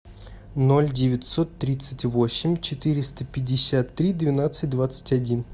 ноль девятьсот тридцать восемь четыреста пятьдесят три двенадцать двадцать один